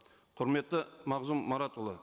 құрметті мағзұм маратұлы